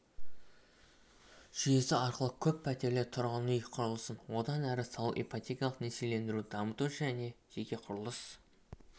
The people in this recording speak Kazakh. жүйесі арқылы көппәтерлі тұрғын үй құрылысын одан әрі салу ипотекалық несиелендіруді дамыту және жеке құрылыс